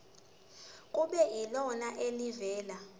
kube yilona elivela